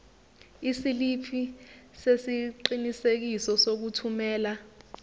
isiliphi sesiqinisekiso sokuthumela